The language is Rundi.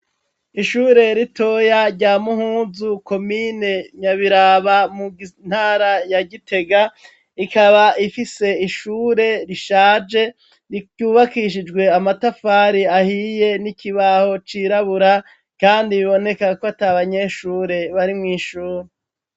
Ishure ritoya rya Muhuzu ,komine Nyabiraba, intara ya Gitega, ikaba ifise ishure rishaje ryubakishijwe amatafari ahiye n'ikibaho cirabura kandi biboneka kwat'abanyeshure bari mw'ishuri.